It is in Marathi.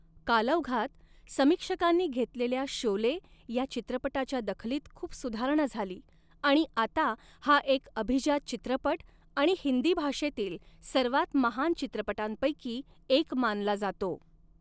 कालौघात, समीक्षकांनी घेतलेल्या शोले या चित्रपटाच्या दखलीत खूप सुधारणा झाली आणि आता हा एक अभिजात चित्रपट आणि हिंदी भाषेतील सर्वात महान चित्रपटांपैकी एक मानला जातो.